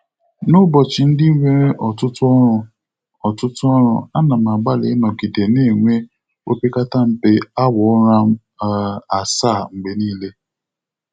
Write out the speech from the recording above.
N'ụbọchị ndị nwere ọtụtụ ọrụ, ọtụtụ ọrụ, a na m agbalị ịnọgide na-enwe opekata mpe awa ụra um asaa mgbe niile.